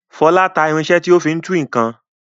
Fọlá ta irinṣẹ́ tí ó fi ń tú nǹkan.